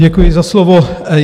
Děkuji za slovo.